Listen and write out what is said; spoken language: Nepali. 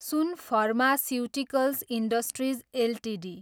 soon pharmaceuticals industries Ltd